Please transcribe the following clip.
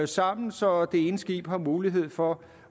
sammen så det ene skib har mulighed for